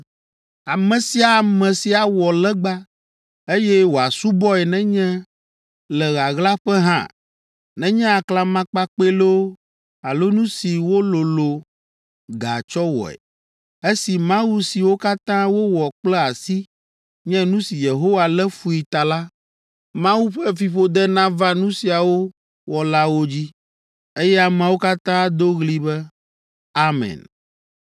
“Ame sia ame si awɔ legba, eye wòasubɔe nenye le ɣaɣlaƒe hã, nenye aklamakpakpɛ loo alo nu si wololõ ga tsɔ wɔe, esi mawu siwo katã wowɔ kple asi nye nu si Yehowa lé fui ta la, Mawu ƒe fiƒode nava nu siawo wɔlawo dzi.” Eye ameawo katã ado ɣli be, “Amen!”